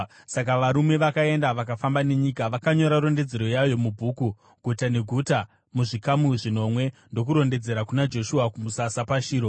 Saka varume vakaenda, vakafamba nenyika. Vakanyora rondedzero yayo mubhuku, guta neguta, muzvikamu zvinomwe, ndokudzokera kuna Joshua kumusasa paShiro.